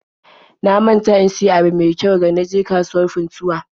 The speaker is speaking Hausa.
Na manta in siyo ayaba me kyau ga na je kasuwar Funtuwa